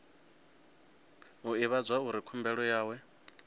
o ivhadzwa uri khumbelo yawe